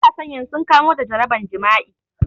Matasan yanzu sun kamo da jaraban jima'i